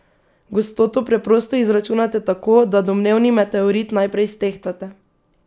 Gostoto preprosto izračunate tako, da domnevni meteorit najprej stehtate.